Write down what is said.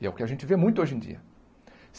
E é o que a gente vê muito hoje em dia.